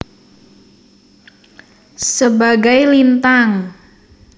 Sebagai Lintang